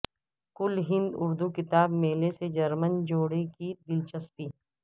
کل ہند اردو کتاب میلے سے جرمن جوڑے کی دلچسپی